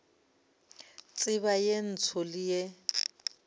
tseba ye ntsho le ye